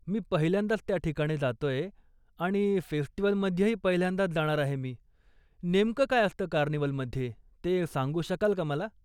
मी पहिल्यांदाच त्या ठिकाणी जातोय आणि फेस्टिवलमध्येही पहिल्यांदाच जाणार आहे मी, नेमकं काय असतं कार्निव्हलमध्ये ते सांगू शकाल का मला?